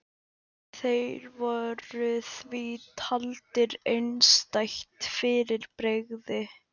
Þeir voru því taldir einstætt fyrirbrigði.